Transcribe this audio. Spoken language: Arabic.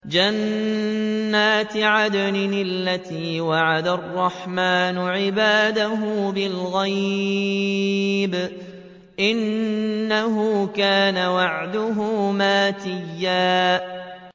جَنَّاتِ عَدْنٍ الَّتِي وَعَدَ الرَّحْمَٰنُ عِبَادَهُ بِالْغَيْبِ ۚ إِنَّهُ كَانَ وَعْدُهُ مَأْتِيًّا